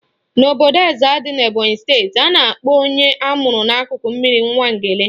N'obodo Ezza dị n'Ebonyi steeti, a na-akpọ onye amụrụ n'akụkụ mmiri Nwangele